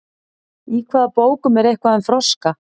Í hvaða bókum er eitthvað um froska?